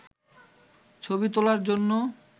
ছবি তোলার জন্য